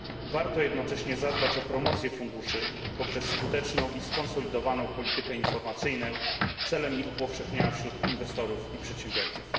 Warto jednocześnie zadbać o promocję funduszy poprzez skuteczną i skonsolidowaną politykę informacyjną celem ich upowszechnienia wśród inwestorów i przedsiębiorców.